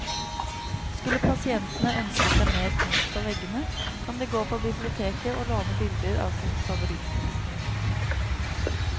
Skulle pasientene ønske seg mer kunst på veggene, kan de gå på biblioteket å låne bilder av sin favorittkunstner.